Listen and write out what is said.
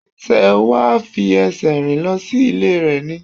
Sé wà á fi esè rìn lo sí Ilé rè ni?